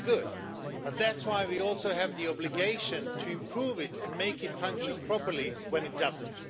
That is good. But that's why we also have the obligation to improve it and make it function properly when it doesn't.